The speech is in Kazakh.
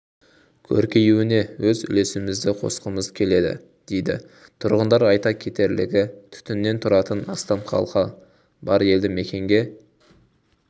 көркеюіне өз үлесімізді қосқымыз келді дейді тұрғындар айта кетерлігі түтіннен тұратын астам халқы бар елді-мекенге